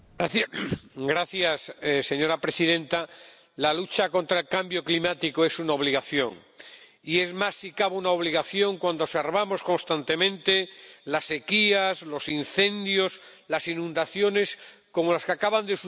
Señora presidenta, la lucha contra el cambio climático es una obligación y es más, si cabe, una obligación cuando observamos constantemente las sequías, los incendios, las inundaciones —como las que acaban de suceder en mi país, España—.